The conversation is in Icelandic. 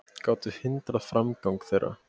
gátu hindrað framgang þeirra.